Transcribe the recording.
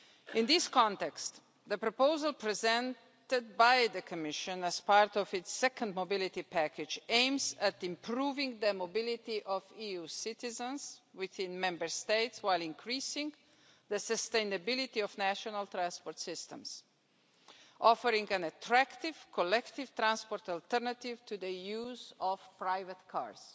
In this context, the proposal presented by the Commission as part of its second mobility package aims at improving the mobility of EU citizens within Member States, while increasing the sustainability of national transport systems, offering an attractive collective transport alternative to the use of private cars.